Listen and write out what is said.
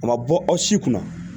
A ma bɔ aw si kunna